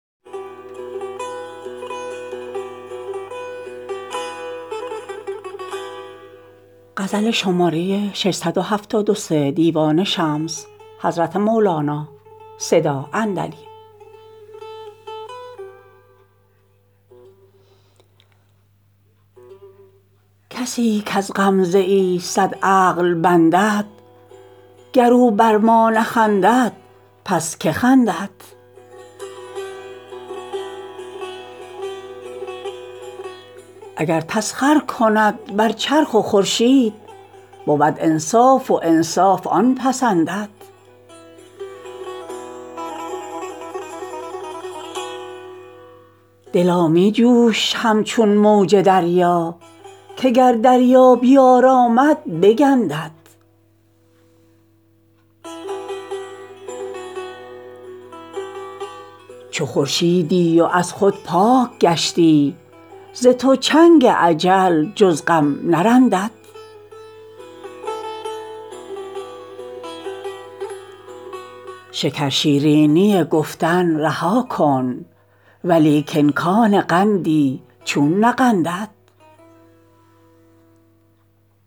کسی کز غمزه ای صد عقل بندد گر او بر ما نخندد پس که خندد اگر تسخر کند بر چرخ و خورشید بود انصاف و انصاف آن پسندد دلا می جوش همچون موج دریا که گر دریا بیارامد بگندد چو خورشیدی و از خود پاک گشتی ز تو چنگ اجل جز غم نرندد شکرشیرینی گفتن رها کن ولیکن کان قندی چون نقندد